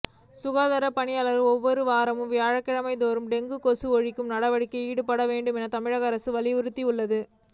சுகாதாரப் பணியாளர்கள் ஒவ்வொரு வாரமும் வியாழக்கிழமைதோறும் டெங்கு கொசு ஒழிப்பு நடவடிக்கையில் ஈடுபட வேண்டும் என தமிழக அரசு அறிவுறுத்தியுள்ளது